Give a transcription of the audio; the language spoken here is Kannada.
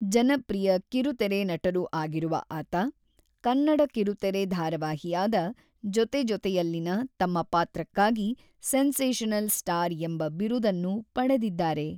ಜನಪ್ರಿಯ ಕಿರುತೆರೆ ನಟರೂ ಆಗಿರುವ ಆತ, ಕನ್ನಡ ಕಿರುತೆರೆ ಧಾರಾವಾಹಿಯಾದ ಜೊತೆ ಜೊತೆಯಲಿಯಲ್ಲಿನ ತಮ್ಮ ಪಾತ್ರಕ್ಕಾಗಿ 'ಸೆನ್ಸೇಷನಲ್ ಸ್ಟಾರ್' ಎಂಬ ಬಿರುದನ್ನು ಪಡೆದಿದ್ದಾರೆ.